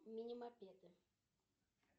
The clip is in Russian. мини мопеды